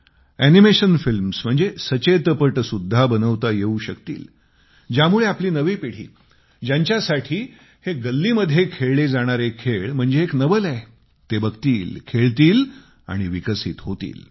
animation films अर्थात सचेतपट सुध्दा बनवता येऊ शकतील ज्यामुळे आपली नवी पिढी ज्यांच्यासाठी हे गल्लीमध्ये खेळले जाणारे खेळ म्हणजे एक नवल आहे ती बघेल खेळेल आणि विकसित होईल